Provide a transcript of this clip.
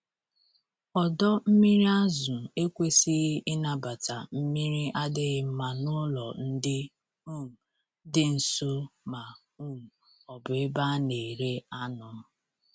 Ọdọ mmiri azụ ekwesighi ịnabata mmiri adịghị mma n'ụlọ ndị um dị nso ma um ọ bụ ebe a na-ere anụ.